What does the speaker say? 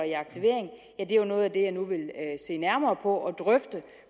aktivering er noget af det jeg nu vil se nærmere på og drøfte